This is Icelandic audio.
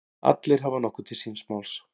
Allir hafa nokkuð til síns máls.